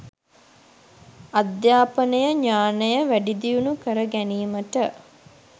අධ්‍යාපනය ඥානය වැඩිදියුණු කර ගැනීමට